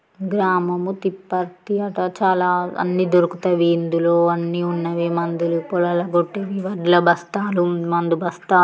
గ్రామము తిపర్తి అట చాలా అన్ని దొరుకుతాయి ఇందులో అన్ని ఉన్నవి మందులు పొలాలకి కొట్టేవి వడ్ల బస్తాలు మందు బస్తా --